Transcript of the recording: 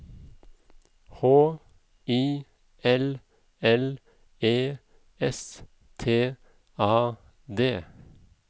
H I L L E S T A D